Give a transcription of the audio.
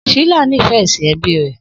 Shila nífẹ̀ẹ́ ẹ̀sìn ẹbí rẹ̀